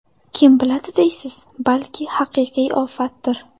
Kim biladi deysiz, balki haqiqiy ofatdir.